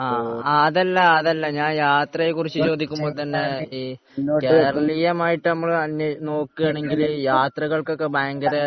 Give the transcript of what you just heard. അതല്ല അതല്ല ഞാൻ യാത്രയെക്കുറിച്ചു ചോദിക്കുമ്പോൾ തന്നെ കേരളീയമായിട്ടു തന്നെ നോക്കുകയാണെങ്കിൽ യാത്രകൾക്ക് ഒക്കെ ഒരു ഭയങ്കര